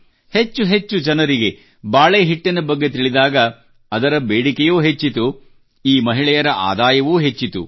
ಹೆಚ್ಚೆಚ್ಚು ಜನರಿಗೆ ಬಾಳೆ ಹಿಟ್ಟಿನ ಬಗ್ಗೆ ತಿಳಿದಾಗ ಅದರ ಬೇಡಿಕೆಯೂ ಹೆಚ್ಚಿತು ಮತ್ತು ಈ ಮಹಿಳೆಯರ ಆದಾಯವೂ ಹೆಚ್ಚಿತು